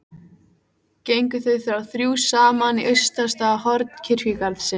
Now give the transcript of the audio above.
Gengu þau þá þrjú saman í austasta horn kirkjugarðsins.